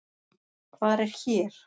Hvar er hér?